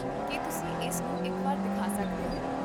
ਕੀ ਤੁਸੀਂ ਇਸ ਨੂੰ ਇੱਕ ਵਾਰ ਦਿਖਾ ਸਕਦੇ ਹੋ?